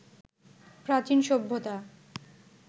প্রাচীন সভ্যতা